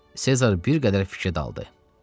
Sezar bir qədər fikrə daldı.